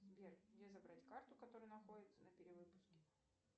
сбер где забрать карту которая находится на перевыпуске